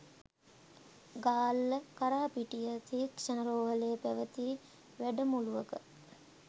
ගාල්ල කරාපිටිය ශික්ෂණ රෝහලේ පැවති වැඩමුළුවක